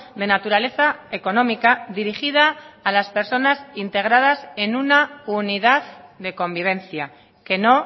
de naturaleza económica dirigida a las personas integradas en una unidad de convivencia que no